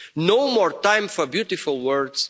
is. No more time for beautiful words.